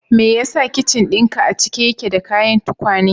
Me yasa kicin dinka a cike yake da kayan tukwane?